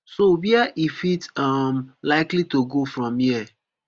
so wia e fit um likely to go from here